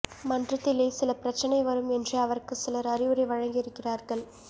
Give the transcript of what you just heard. மன்றத்திலே சில பிரச்சனை வரும் என்று அவருக்கு சிலர் அறிவுரை வழங்கி இருக்கிறார்கள்